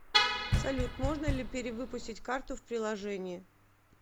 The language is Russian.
салют можно ли перевыпустить карту в приложении